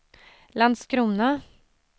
Landskrona